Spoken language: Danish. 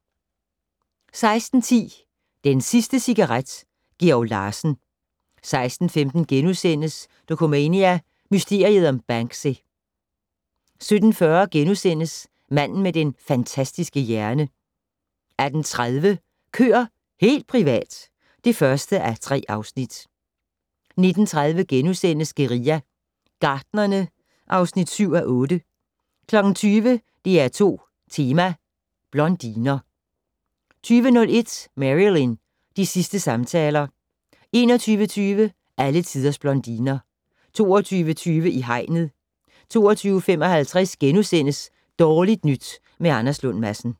16:10: Den sidste cigaret: Georg Larsen 16:15: Dokumania: Mysteriet om Banksy * 17:40: Manden med den fantastiske hjerne * 18:30: Køer - helt privat! (1:3) 19:30: Guerilla Gartnerne (7:8)* 20:00: DR2 Tema: Blondiner 20:01: Marilyn - de sidste samtaler 21:20: Alle tiders blondiner 22:20: I hegnet 22:55: Dårligt nyt med Anders Lund Madsen *